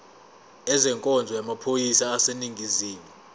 ezenkonzo yamaphoyisa aseningizimu